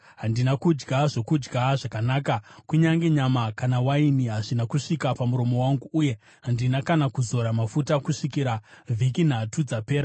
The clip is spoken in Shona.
Handina kudya zvokudya zvakanaka; kunyange nyama kana waini hazvina kusvika pamuromo wangu; uye handina kana kuzora mafuta kusvikira vhiki nhatu dzapera.